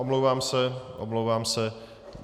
Omlouvám se, omlouvám se.